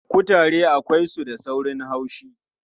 Kutare akwai su da saurin haushi.